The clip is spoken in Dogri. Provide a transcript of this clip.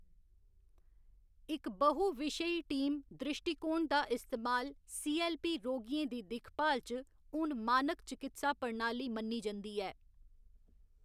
इक बहु विशेई टीम द्रिश्टीकोण दा इस्तेमाल सी.ऐल्ल.पी. रोगियें दी दिक्खभाल च हून मानक चकित्सा प्रणाली मन्नी जंदी ऐ।